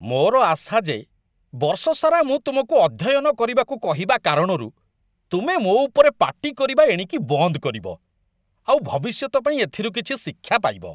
ମୋର ଆଶା ଯେ ବର୍ଷସାରା ମୁଁ ତୁମକୁ ଅଧ୍ୟୟନ କରିବାକୁ କହିବା କାରଣରୁ ତୁମେ ମୋ ଉପରେ ପାଟି କରିବା ଏଣିକି ବନ୍ଦ କରିବ, ଆଉ ଭବିଷ୍ୟତ ପାଇଁ ଏଥିରୁ କିଛି ଶିକ୍ଷା ପାଇବ।